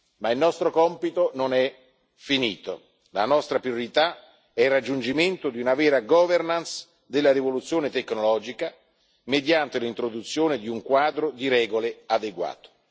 Ma il nostro compito non è finito, la nostra priorità è il raggiungimento di una vera governance della rivoluzione tecnologica mediante l'introduzione di un quadro di regole adeguato.